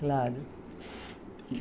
Claro.